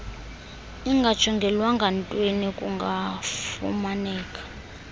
ingajongelwanga ntweni kungafumaneka